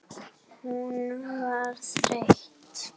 Hún var þreytt.